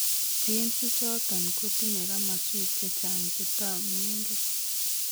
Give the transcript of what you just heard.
Genes ichoton kotiinye kamaswek chechang chetaunen gee